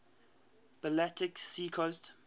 baltic sea coast